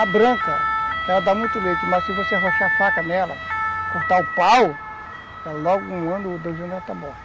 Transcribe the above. A branca, ela dá muito leite, mas se você arrochar a faca nela, cortar o pau, logo um ano ou dois anos ela está morta.